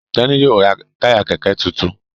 Teni yíò rá Táyà kẹkẹ títún.